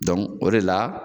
o de la